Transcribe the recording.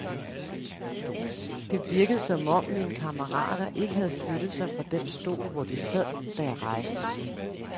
Det virkede, som om mine kammerater ikke havde flyttet sig fra den stol, hvor de sad, da jeg rejste.